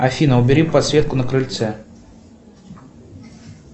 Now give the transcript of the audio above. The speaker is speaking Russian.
афина убери подсветку на крыльце